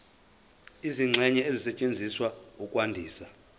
izingxenye ezisetshenziswa ukwandisa